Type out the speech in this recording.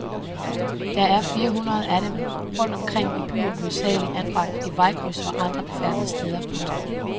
Der er fire hundrede af dem rundt omkring i byen hovedsageligt anbragt i vejkryds og andre befærdede steder. punktum